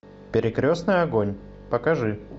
перекрестный огонь покажи